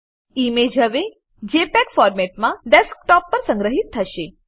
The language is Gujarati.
ઈમેજ હવે જેપીઇજી ફોર્મેટમાં ડેસ્કટોપ પર સંગ્રહીત થશે